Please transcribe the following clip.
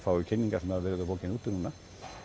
kynningar sem hafa verið á bókinni úti núna